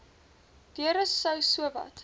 deure sou sowat